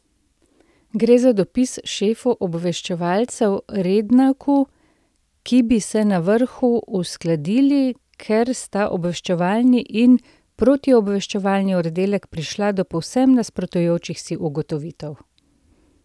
Gre za dopis šefu obveščevalcev Rednaku, da bi se na vrhu uskladili, ker sta obveščevalni in protiobveščevalni oddelek prišla do povsem nasprotujočih si ugotovitev.